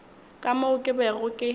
ka moo ke bego ke